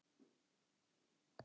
Svelturðu heilu hungri?